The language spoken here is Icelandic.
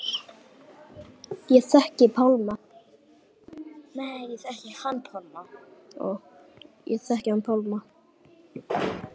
Ég þekkti hann Pálma.